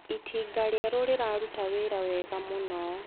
Itinga rĩerũ rĩraruta wĩra wega mũno.